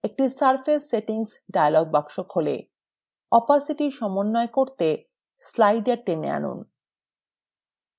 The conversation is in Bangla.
একটি পৃষ্ঠতল সেটিং dialog box খোলে opacity সমন্বয় করতে slider টেনে আনুন